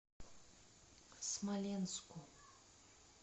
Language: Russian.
смоленску